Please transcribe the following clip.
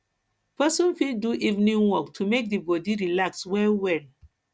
person fit do evening walk to make di body relax well well